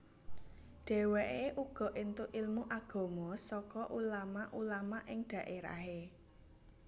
Dheweke uga entuk ilmu agama saka ulama ulama ing dhaerahe